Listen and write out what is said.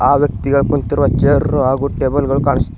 ಆ ವ್ಯಕ್ತಿಗಳು ಕುಂತಿರುವ ಚೇರು ಹಾಗೂ ಟೇಬಲುಗಳು ಕಾಣಿಸುತ್ತಿವೆ.